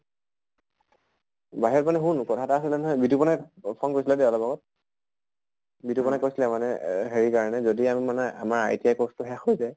বাহিৰত মানে শুন কথা এটা আছিলে নহয়, বিতোপনে phone কৰিছিল যে অলপ আগত। বিতোপনে কৈছিলে মানে এহ হেৰিৰ কাৰণে যদি আমি মানে আমাৰ ITI course টো শেষ হৈ যায়